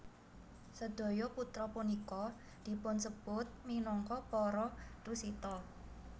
Sedaya putra punika dipunsebut minangka para Tusita